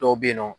Dɔw be yen nɔ